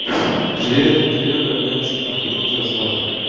приеду приеду я денчик наберу тебя сразу